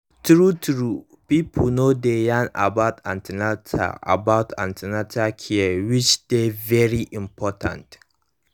true truepipo no dey yarn about an ten atal about an ten atal care which dey very important